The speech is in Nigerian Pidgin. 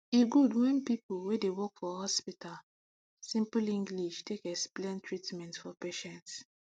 e good wen people wey dey work for hospital simple english take explain treatments for patients